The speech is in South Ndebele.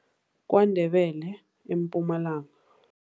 KwaNdebele eMpumalanga.